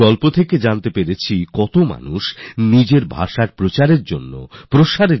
এই কাহিনী থেকে জেনেছিলাম কিভাবে মানুষ নিজের ভাষাকে উন্নত করার জন্য এগিয়ে আসছেন